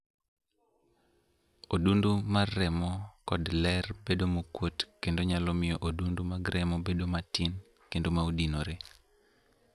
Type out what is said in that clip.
Odundu mar remo kod ler bedo mokuot kendo nyalo miyo odundu mag remo bedo ma tin kendo maodinore